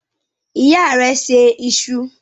Ìyá rẹ se iṣu?